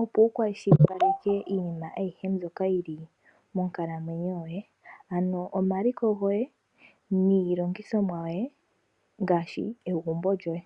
opo wukashilipaleke iinima ayihe mbyoka yili monkalamwenyo ,ano omaliko goye niilongithomwa yoye ngaashi egumbo lyoye .